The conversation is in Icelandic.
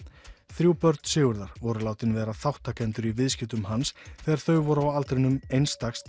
þrjú börn Sigurðar voru látin vera þátttakendur í viðskiptum hans þegar þau voru á aldrinum eins dags